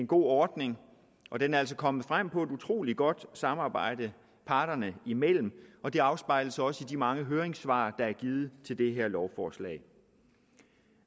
god ordning og den er altså kommet frem ved et utrolig godt samarbejde parterne imellem og det afspejles også i de mange høringssvar der er givet til det her lovforslag